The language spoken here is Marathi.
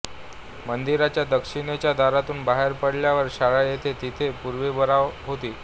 मंदिराच्या दक्षिणेच्या दारातून बाहेर पडल्यावर शाळा आहे तेथे पूर्वी बारव होती